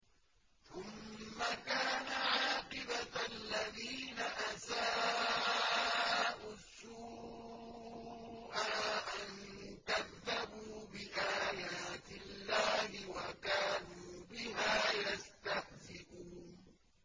ثُمَّ كَانَ عَاقِبَةَ الَّذِينَ أَسَاءُوا السُّوأَىٰ أَن كَذَّبُوا بِآيَاتِ اللَّهِ وَكَانُوا بِهَا يَسْتَهْزِئُونَ